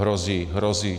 Hrozí, hrozí.